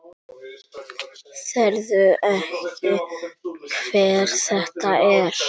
Sérðu ekki hver þetta er?